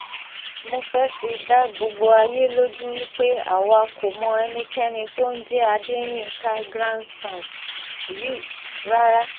mo fẹ́ẹ́ fi dá gbogbo ayé lójú wí pé àwa kò mọ ẹnikẹ́ni tó ń jẹ́ adéyinka grandson rí rárá